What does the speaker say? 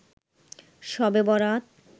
শবে বরাত